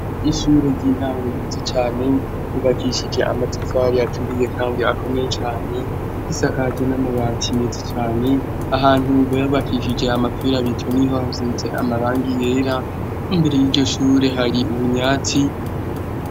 Ishure ry'intango yizo cane yubakishije amatafaro aturiye kangi akome cane isakaje n'amabatineti cane ahantu bubayabakishije amafera bityo niho hazinze amaranga yera imbere y'iryo shure hari ubunyatsi.